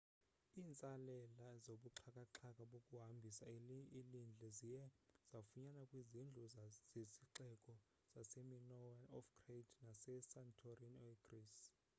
iintsalela zobuxhakaxhaka bokuhambisa ilindle ziye zafunyanwa kwizindlu zesixeko sase minoan of crete nase santorini e greece